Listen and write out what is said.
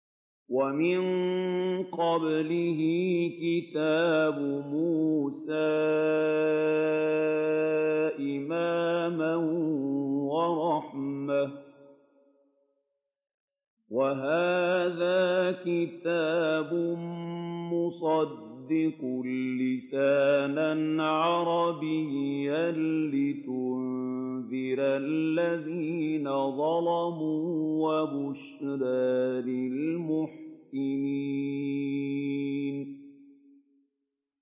وَمِن قَبْلِهِ كِتَابُ مُوسَىٰ إِمَامًا وَرَحْمَةً ۚ وَهَٰذَا كِتَابٌ مُّصَدِّقٌ لِّسَانًا عَرَبِيًّا لِّيُنذِرَ الَّذِينَ ظَلَمُوا وَبُشْرَىٰ لِلْمُحْسِنِينَ